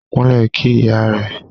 Kúnlẹ̀ kí ìyá rẹ.